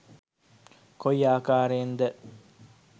කොයි ආකාරයෙන්ද?